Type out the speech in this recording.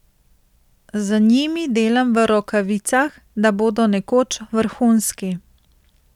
Z njimi delam v rokavicah, da bodo nekoč vrhunski.